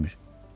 Cavab vermir.